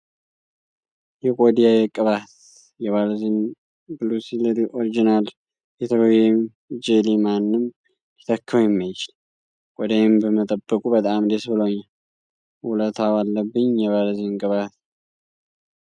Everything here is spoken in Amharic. የቆዳዬ ቅባት! የቫዝሊን ብሉሲል ኦሪጂናል ፔትሮሊየም ጄሊ ማንም ሊተካው የማይችል! ቆዳዬን በመጠበቁ በጣም ደስ ብሎኛል! ውለታው አለብኝ የቫዝሊን ቅባት ።